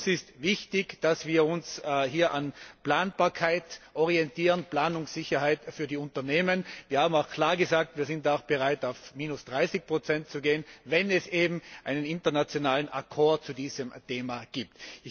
Für uns ist wichtig, dass wir uns hier an Planbarkeit orientieren, an Planungssicherheit für die Unternehmen. Wir haben auch klar gesagt Wir sind auch bereit auf minus 30 zu gehen, wenn es eben einen internationalen zu diesem Thema gibt.